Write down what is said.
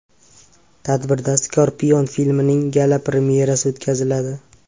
Tadbirda Scorpion filmining gala – premyerasi o‘tkaziladi.